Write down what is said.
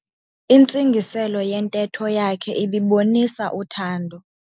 Intsingiselo yentetho yakhe ibibonisa uthando.